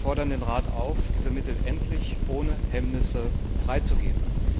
Wir fordern den Rat auf, diese Mittel endlich ohne Hemmnisse freizugeben.